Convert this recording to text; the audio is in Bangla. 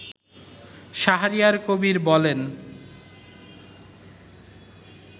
শাহরিয়ার কবির বলেন